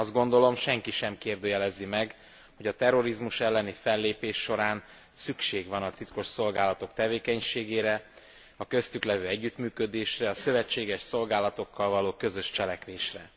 Azt gondolom, senki sem kérdőjelezi meg, hogy a terrorizmus elleni fellépés során szükség van a titkosszolgálatok tevékenységére, a köztük levő együttműködésre, a szövetséges szolgálatokkal való közös cselekvésre.